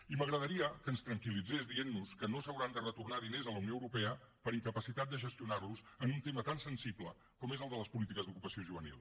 i m’agradaria que ens tranquil·litzés dient nos que no s’hauran de retornar diners a la unió europea per incapacitat de gestionar los en un tema tan sensible com és el de les polítiques d’ocupació juvenil